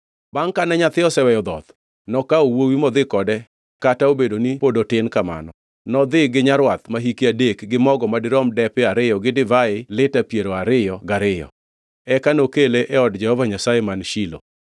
Bangʼ kane nyathi oseweyo dhoth nokawo wuowi modhi kode kata obedo ni pod otin kamano, nodhi gi nyarwath ma hike adek gi mogo madirom depe ariyo gi divai lita piero ariyo gariyo, eka nokele e od Jehova Nyasaye man Shilo.